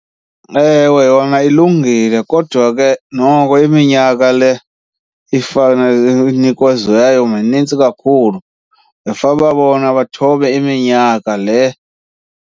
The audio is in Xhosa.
Ewe, yona ilungile kodwa ke noko iminyaka le inikeziweyo minintsi kakhulu. Bekufanele uba bona bathobe iminyaka le.